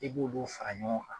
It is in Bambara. I b'olu fara ɲɔgɔn kan